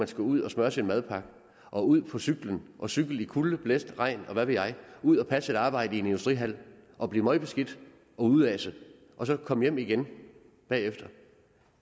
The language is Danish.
skulle ud og smørre sin madpakke og ud på cyklen og cykle i kulde blæst regn og hvad ved jeg ud og passe et arbejde i en industrihal og blive møgbeskidt og udaset og så komme hjem igen bagefter